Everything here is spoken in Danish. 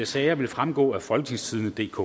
sager vil fremgå af folketingstidendedk